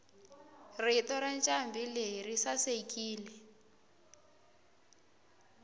rito rancambileyi risasekile